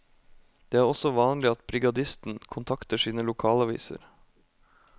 Det er også vanlig at brigadisten kontakter sine lokalaviser.